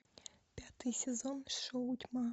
пятый сезон шоу тьма